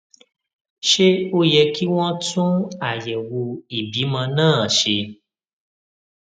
ṣé ó yẹ kí wón tún àyèwò ìbímọ náà ṣe